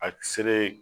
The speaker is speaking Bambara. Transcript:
A seleri